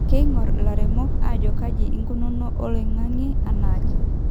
Keingor ilaremok ajo kaji ikununo oloingange anaake